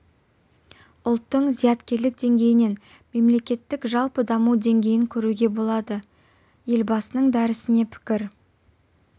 ұлттың зияткерлік деңгейінен мемлекеттік жалпы даму деңгейін көруге болады елбасының дәрісіне пікір